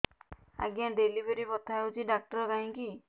ଆଜ୍ଞା ଡେଲିଭରି ବଥା ହଉଚି ଡାକ୍ତର କାହିଁ କି